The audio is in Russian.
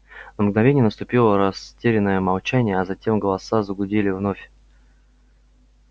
на мгновение наступило растерянное молчание а затем голоса загудели вновь